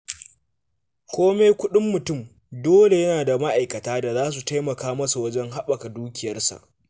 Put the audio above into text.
Kome kuɗin mutum, dole yana da ma'aikata da za su taimaka masa wajen haɓaka dukiyarsa.